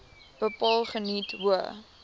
bepaal geniet hoë